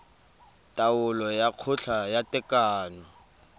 taolo ya kgotla ya tekano